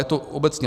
Je to obecně.